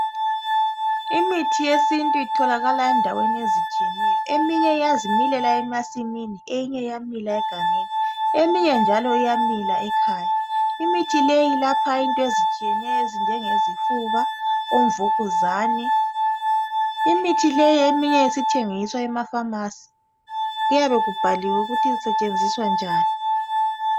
Imithi yesintu itholakala endaweni ezitshiyeneyo eminye iyazimilela emasimini eyinye iyamila egangeni eminye njalo iyamila ekhaya. Imithi leyi ilapha into ezitshiyeneyo ezinjenge zifuba, omvukuzane. Imithi leyi eminye isithengiswa Emafamasi kuyabe kubhaliwe ukuthi kusetshenziswa njani.